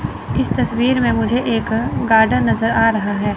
इस तस्वीर में मुझे एक गार्डन नजर आ रहा है।